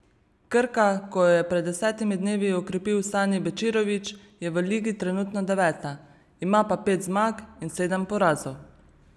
Krka, ko jo je pred desetimi dnevi okrepil Sani Bečirović, je v ligi trenutno deveta, ima pa pet zmag in sedem porazov.